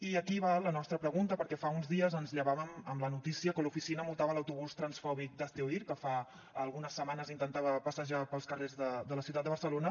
i aquí va la nostra pregunta perquè fa uns dies ens llevàvem amb la notícia que l’oficina multava l’autobús transfòbic d’hazte oír que fa algunes setmanes intentava passejar pels carrers de la ciutat de barcelona